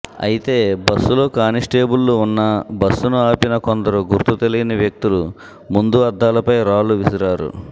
అయితే బస్సులో కానిస్టేబుళ్లు ఉన్నా బస్సును ఆపిన కొందరు గుర్తు తెలియని వ్యక్తులు ముందు అద్దాలపై రాళ్లువిసిరారు